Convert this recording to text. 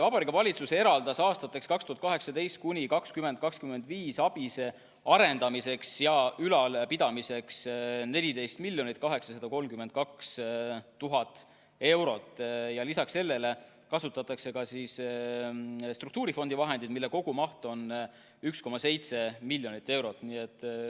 Vabariigi Valitsus eraldas aastateks 2018–2025 ABIS-e arendamiseks ja ülalpidamiseks 14 832 000 eurot, ja lisaks sellele kasutatakse ka struktuurifondi vahendeid, mille kogumaht on 1,7 miljonit eurot.